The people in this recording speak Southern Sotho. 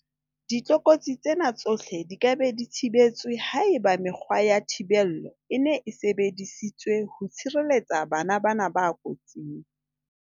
Ditlokotsi tsena tsohle di ka be di thibetswe haeba mekgwa ya thibello e ne e sebedi sitswe ho tshireletsa bana bana ba kotsing.